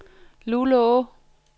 Luleå